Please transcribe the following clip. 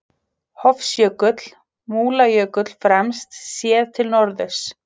Hofsjökull, Múlajökull fremst, séð til norðurs.